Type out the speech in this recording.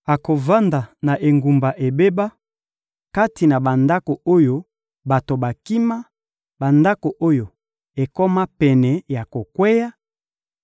akovanda na engumba ebeba, kati na bandako oyo bato bakima, bandako oyo ekoma pene ya kokweya;